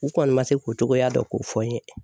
U kɔni ma se k'o cogoya dɔn k'o fɔ n ye.